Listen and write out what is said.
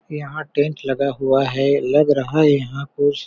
यहाँ टेंट लगा हुआ है लग रहा है यहाँ कुछ--